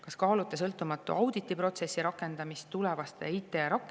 Kas kaalute sõltumatu auditiprotsessi rakendamist tulevaste IT-arenduste puhul?"